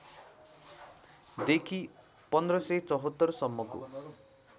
देखि १५७४ सम्मको